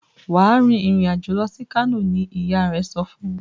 Wá rìn ìrìn àjò lọ sì kano! ní ìyá rẹ sọfún.